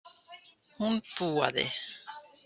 Hún púaði.